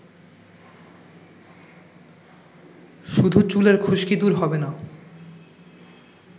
শুধু চুলের খুশকি দূর হবে না